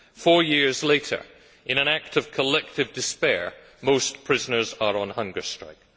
Four years later, in an act of collective despair, most prisoners are on hunger strike.